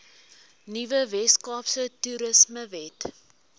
nuwe weskaapse toerismewet